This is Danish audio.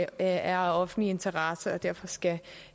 af offentlig interesse og derfor skal